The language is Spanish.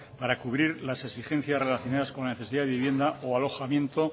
para cubrir las exigencias relacionadas con la necesidad de vivienda o alojamiento